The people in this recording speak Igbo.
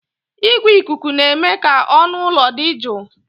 Igwe ikuku na-eme ka ọnụ ụlọ dị jụụ